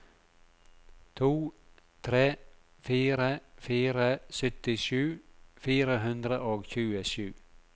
to tre fire fire syttisju fire hundre og tjuesju